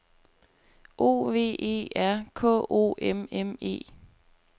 O V E R K O M M E